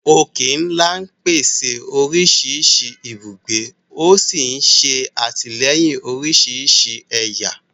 Òkè-ńlá pèsè oríṣiríṣi ibùgbé, ó sì ń ṣe àtìlẹ́yìn oríṣiríṣi ẹ̀yà